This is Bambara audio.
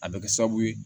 A bɛ kɛ sababu ye